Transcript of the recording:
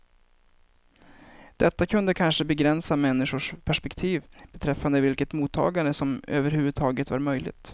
Detta kunde kanske begränsa människors perspektiv beträffande vilket mottagande som överhuvudtaget var möjligt.